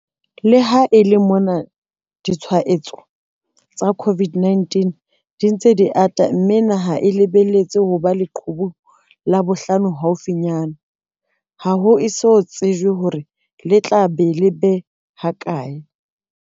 Le ha e le mona ditshwaetso tsa COVID-19 di ntse di ata mme naha e lebelletse ho ba leqhubung la bohlano haufinyana, ha ho eso tsejwe hore le tla ba lebe ha kae.